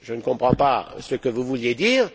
je ne comprends pas ce que vous vouliez dire...